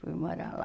Fui morar lá.